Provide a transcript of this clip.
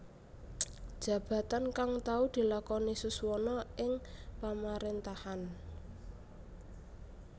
Jabatan kang tau dilakoni Suswono ing Pamaréntahan